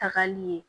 Tagali ye